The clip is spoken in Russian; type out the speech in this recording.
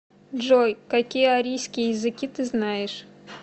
джой какие арийские языки ты знаешь